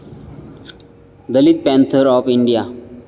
Dalit panther of India